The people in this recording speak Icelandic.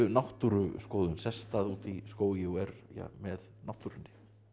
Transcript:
náttúruskoðun sest að úti í skógi og er með náttúrunni